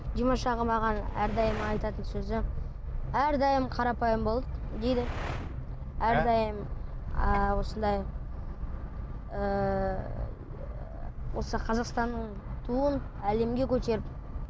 димаш аға маған әрдайым айтатын сөзі әрдайым қарапайым бол дейді әрдайым ы осыңдай ыыы осы қазақстанның туын әлемге көтеріп